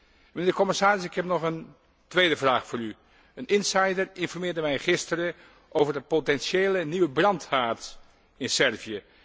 Mijnheer de commissaris, ik heb nog een tweede vraag voor u. Een insider informeerde mij gisteren over de potentiële nieuwe brandhaard in Servië.